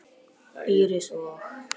Íris og